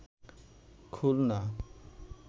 Khulna